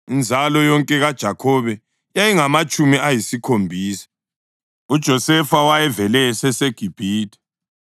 Inzalo yonke kaJakhobe yayingamatshumi ayisikhombisa. UJosefa wayevele eseseGibhithe.